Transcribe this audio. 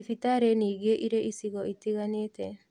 Thibitarĩ ningĩ irĩ icigo itiganĩte